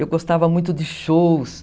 Eu gostava muito de shows.